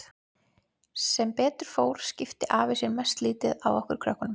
Sem betur fór skipti afi sér mest lítið af okkur krökkunum.